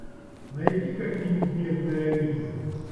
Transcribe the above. найди ка фильм бедная лиза